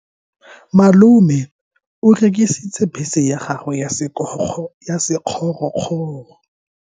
Malome o rekisitse bese ya gagwe ya sekgorokgoro.